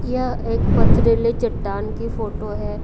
यह एक पथरेले चट्टान की फोटो है।